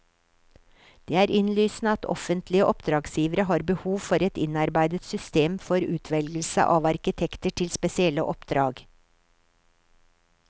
Det er innlysende at offentlige oppdragsgivere har behov for et innarbeidet system for utvelgelse av arkitekter til spesielle oppdrag.